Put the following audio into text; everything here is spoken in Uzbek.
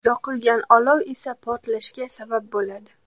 Yoqilgan olov esa portlashga sabab bo‘ladi.